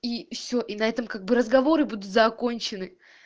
и все и на этом как бы разговоры будут закончены